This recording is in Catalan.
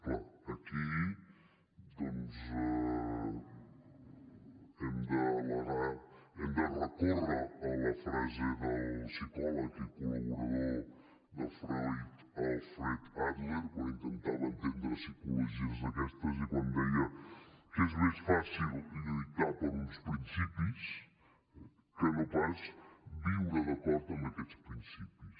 clar aquí doncs hem de recórrer a la frase del psicòleg i col·laborador de freud alfred adler quan intentava entendre psicologies d’aquestes i quan deia que és més fàcil lluitar per uns principis que no pas viure d’acord amb aquests principis